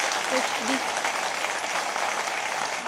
HD.